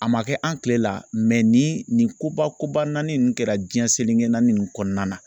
A ma kɛ an kile la ni nin koba koba naani nin kɛra diɲɛ seleke naanii in kɔnɔna na.